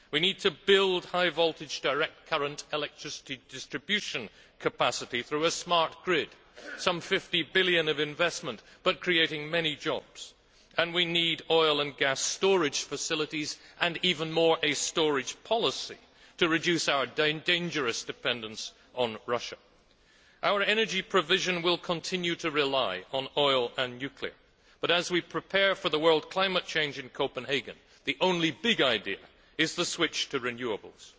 We need to build high voltage DC electricity distribution capacity through a smart grid some EUR 50 billion of investment, but creating many jobs and we need oil and gas storage facilities and, even more, a storage policy to reduce our dangerous dependence on Russia. Our energy provision will continue to rely on oil and nuclear power but, as we prepare for the World Climate Change conference in Copenhagen, the only big idea is the switch to renewables.